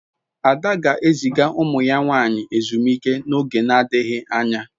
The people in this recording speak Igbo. Ada ga-eziga umu ya nwanyi ezumike n'oge na-adighi anya